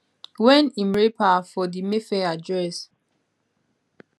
wen im rape her for di mayfair address